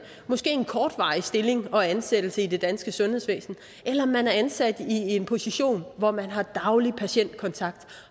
måske en kortvarig stilling og ansættelse i det danske sundhedsvæsen eller om man er ansat i en position hvor man har daglig patientkontakt